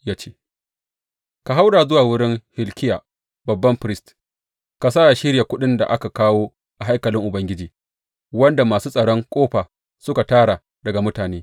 Ya ce, Ka haura zuwa wurin Hilkiya babban firist ka sa yă shirya kuɗin da aka kawo a haikalin Ubangiji, wanda masu tsaron ƙofa suka tara daga mutane.